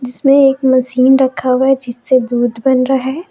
इसमें एक मशीन रखा गया जिस पे दूध बन रहा है।